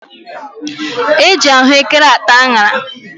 E ji ahụekere ata añara.